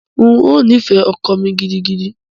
N ó nífẹ̀ẹ́ ọkọ mi gidigidi.